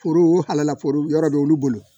Foro ala foro yɔrɔ bɛ olu bolo